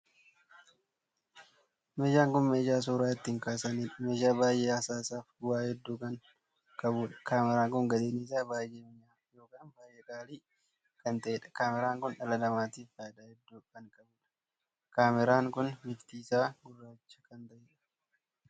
Meeshaan kun meeshaa suura ittiin kaasaniidha. meeshaan baay'ee hasaasaaf bu'aa hedduu kan qabuudha. kaameraa kun gatiin isaa baay'ee minya'aa ykn baay'ee qaalii kan taheedha. kaameraan kun dhala namaatiif faayidaa hedduu kan qabuudha. kaameraan kun bifti isaa gurraacha kan taheedha.